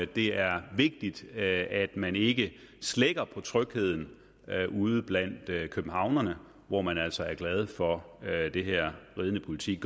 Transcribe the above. det er vigtigt at man ikke slækker på trygheden ude blandt københavnerne hvor man altså er glade for det her ridende politi